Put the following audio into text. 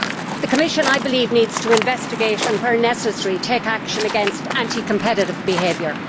The Commission, I believe, needs to investigate and, where necessary, take action against, anti competitive behaviour.